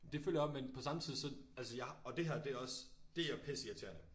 Det føler jeg også men samtidigt så altså jeg har og det her det også det er pisse irriterende